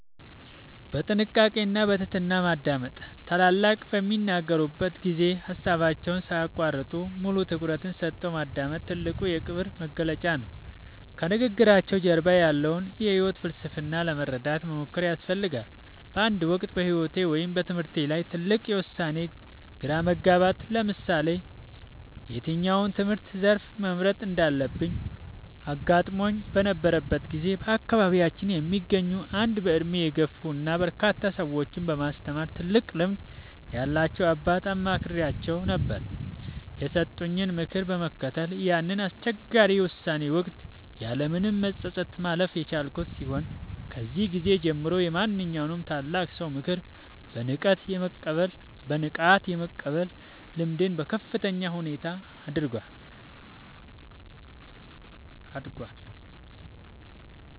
በጥንቃቄ እና በትህትና ማዳመጥ፦ ታላላቆች በሚናገሩበት ጊዜ ሃሳባቸውን ሳይያቋርጡ፣ ሙሉ ትኩረትን ሰጥቶ ማዳመጥ ትልቁ የክብር መግለጫ ነው። ከንግግራቸው ጀርባ ያለውን የህይወት ፍልስፍና ለመረዳት መሞከር ያስፈልጋል። በአንድ ወቅት በህይወቴ ወይም በትምህርቴ ላይ ትልቅ የውሳኔ ግራ መጋባት (ለምሳሌ የትኛውን የትምህርት ዘርፍ መምረጥ እንዳለብኝ) አጋጥሞኝ በነበረበት ጊዜ፣ በአካባቢያችን የሚገኙ አንድ በእድሜ የገፉ እና በርካታ ሰዎችን በማስተማር ትልቅ ልምድ ያላቸውን አባት አማክሬአቸው ነበር። የሰጡኝን ምክር በመከተል ያንን አስቸጋሪ የውሳኔ ወቅት ያለምንም መጸጸት ማለፍ የቻልኩ ሲሆን፣ ከዚያ ጊዜ ጀምሮ የማንኛውንም ታላቅ ሰው ምክር በንቃት የመቀበል ልምዴ በከፍተኛ ሁኔታ አድጓል።